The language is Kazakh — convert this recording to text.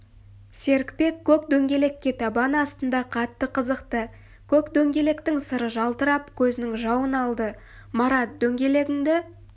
серікбек көк дөңгелекке табан астында қатты қызықты көк дөңгелектің сыры жалтырап көзінің жауын алды марат дөңгелегіңді